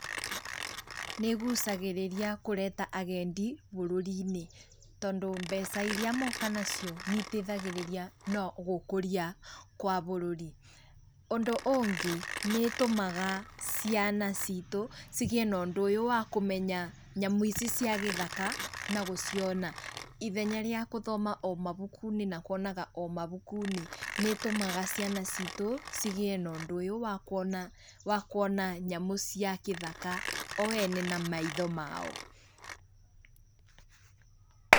Nĩ ĩgucagĩrĩria kũreta agendi bũrũri-inĩ, tondũ mbeca iria moka nacio nĩiteithagĩrĩrĩa na gũkũria kwa bũrũri. Ũndũ ũngĩ, nĩ ĩtũmaga ciana citũ cigĩĩ na ũndũ ũyũ wa kũmenya nyamũ ici cia gĩthaka na gũciona. Ithenya rĩa gũthoma o mabuku-inĩ, na kũonaga o mabuku-inĩ, nĩ ĩtũmaga ciana citũ cigĩe na ũndũ ũyũ wa kuona nyamũ cia gĩthaka, o ene na maitho mao.